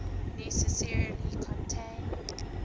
necessarily contain